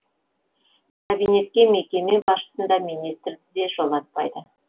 кабинетке мекеме басшысын да министрді де жолатпайды